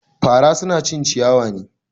Fara suna cin ciyawa ne.